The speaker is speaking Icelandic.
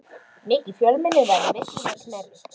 Mikið fjölmenni var í veislunni að Knerri.